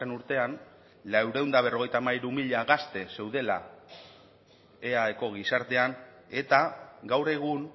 urtean laurehun eta berrogeita hamairu mila gazte zeudela eaeko gizartean eta gaur egun